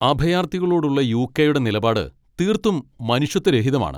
അഭയാർത്ഥികളോടുള്ള യു.കെ.യുടെ നിലപാട് തീർത്തും മനുഷ്യത്വരഹിതമാണ്.